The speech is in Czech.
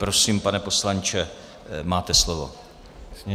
Prosím, pane poslanče, máte slovo.